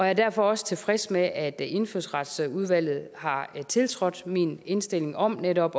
er derfor også tilfreds med at indfødsretsudvalget har tiltrådt min indstilling om netop